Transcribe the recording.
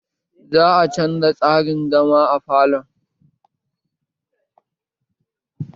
Za a canza tsarin zama a falon